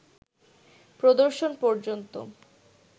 প্রদর্শন পর্যন্ত